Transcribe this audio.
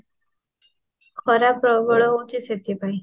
ଖରା ପ୍ରବଳ ହୋଉଛି ସେଠି ପାଇଁ